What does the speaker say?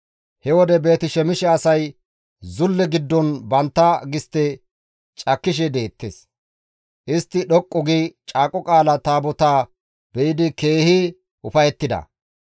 He wode Beeti-Shemishe asay zulle giddon bantta gistte cakkishe deettes; istti dhoqqu gi Caaqo Qaala Taabotaa be7idi keehi ufayettida.